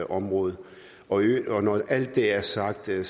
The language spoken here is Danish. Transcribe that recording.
område når alt det er sagt er